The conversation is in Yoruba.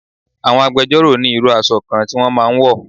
Àwọn agbẹjọ́ro ni irú aṣọ kan tí wọ́n máa ń wọ̀